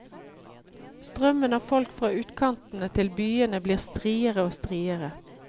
Strømmen av folk fra utkantene til byene blir striere og striere.